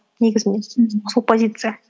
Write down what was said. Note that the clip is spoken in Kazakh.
негізінде сол позиция